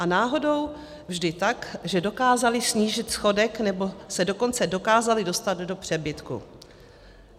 A náhodou vždy tak, že dokázali snížit schodek, nebo se dokonce dokázali dostat do přebytku.